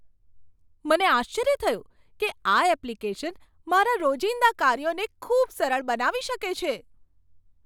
મને આશ્ચર્ય થયું કે આ એપ્લિકેશન મારા રોજિંદા કાર્યોને ખૂબ સરળ બનાવી શકે છે.